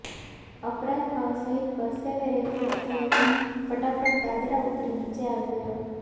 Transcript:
અપરાધ ભાવ સહિત પરસેવે રેબઝેબ થયેલો હું ફટાફટ દાદરા ઉતરી નીચે આવી ગયો